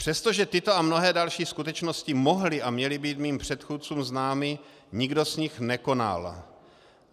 Přestože tyto a mnohé další skutečnosti mohly a měly být mým předchůdcům známy, nikdo z nich nekonal.